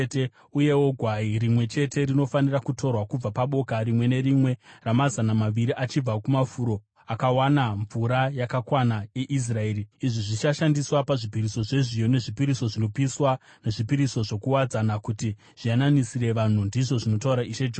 Uyewo gwai rimwe chete rinofanira kutorwa kubva paboka rimwe nerimwe ramazana maviri achibva kumafuro akawana mvura yakakwana eIsraeri. Izvi zvichashandiswa pazvipiriso zvezviyo, nezvipiriso zvinopiswa nezvipiriso zvokuwadzana kuti zviyananisire vanhu, ndizvo zvinotaura Ishe Jehovha.